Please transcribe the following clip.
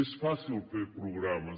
és fàcil fer programes